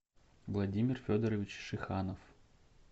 владимир федорович шиханов